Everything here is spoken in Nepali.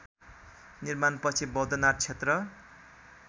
निर्माणपछि बौद्धनाथ क्षेत्र